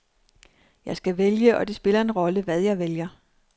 Jeg skal vælge, og det spiller en rolle, hvad jeg vælger.